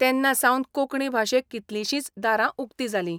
तेन्ना सावन कोंकणी भाशेक कितलींशींच दारां उकतीं जालीं.